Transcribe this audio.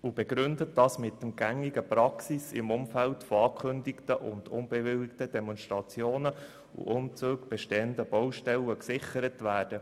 Sie begründet das mit der gängigen Praxis im Vorfeld von angekündigten und unbewilligten Demonstrationen und Umzügen, bei der bestehende Baustellen gesichert werden.